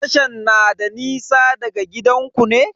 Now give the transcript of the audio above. Tashan na da nisa da gidanku ne?